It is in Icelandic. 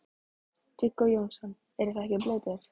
Viggó Jónsson: Þið eruð ekkert blautir?